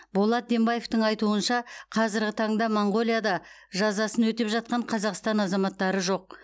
болат дембаевтың айтуынша қазіргі таңда моңғолияда жазасын өтеп жатқан қазақстан азаматтары жоқ